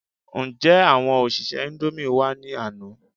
Ǹjé àwọn òṣìṣẹ́ indomie wá ní àná?